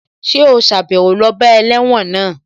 Ṣé ò sàbẹ̀wo lọ bá ẹlẹ́wọ̀n náà?